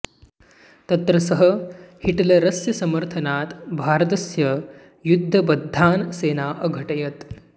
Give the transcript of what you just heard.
तत्र सः हिटलरस्य समर्थनात् भारतस्य युद्धबद्धान् सेना अघटयत्